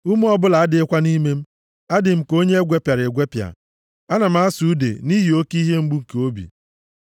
Ume ọbụla adịghịkwa nʼime. Adị m ka onye e gwepịara egwepịa. Ana m asụ ude nʼihi oke ihe mgbu nke obi.